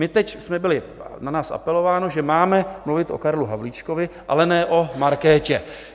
My teď jsme byli... na nás apelováno, že máme mluvit o Karlu Havlíčkovi, ale ne o Markétě.